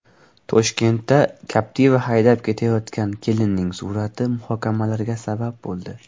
Toshkentda Captiva haydab ketayotgan kelinning surati muhokamalarga sabab bo‘ldi .